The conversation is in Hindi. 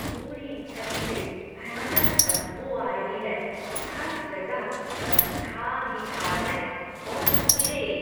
पूरी छत से भयानक बदबू आ रही है, हर जगह बस खाद ही खाद है और कीड़े।